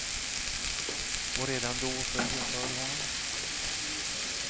Och redan då föll jag för honom.